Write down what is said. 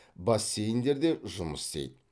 бассейндер де жұмыс істейді